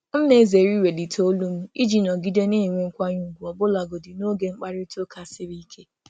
M na-ezere iwelite olu m iji nọgide nọgide na-enwe nkwanye ùgwù ọbụlagodi n’oge mkparịta ụka siri ike.